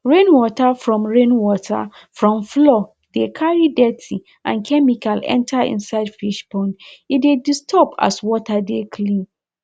rain water from rain water from floor de carry dirty and chemical enter inisde fish pond e de disturb as water de clean